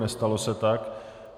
Nestalo se tak.